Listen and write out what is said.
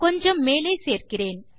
கொஞ்சம் மேலே சேர்க்கிறேன்